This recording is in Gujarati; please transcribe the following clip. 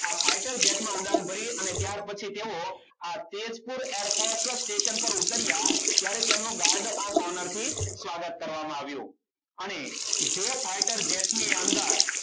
આ fighter jet માં ઉડાન ભરી અને ત્યાર પછી તેઓ આ તેજપુર air force station પર ઉતર્યા. ત્યારે તેમનું guard of owner થી સ્વાગત કરવામાં આવ્યું. અને જે fighter jet ની અંદર